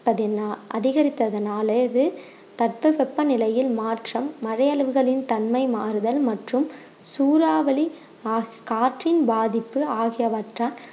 பதினா~ அதிகரித்ததனாலே இது பத்து சொப்ப நிலையில் மாற்றம் மழை அளவுகளின் தன்மை மாறுதல் மற்றும் சூறாவளி மாசு~ காற்றின் பாதிப்பு ஆகியவற்றால்